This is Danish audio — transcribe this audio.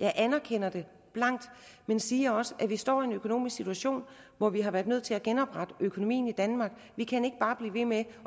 jeg anerkender det blankt men siger også at vi står i en økonomisk situation hvor vi har været nødt til at genoprette økonomien i danmark vi kan ikke bare blive ved med